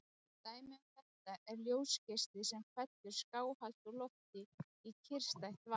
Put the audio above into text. Dæmi um þetta er ljósgeisli sem fellur skáhallt úr lofti í kyrrstætt vatn.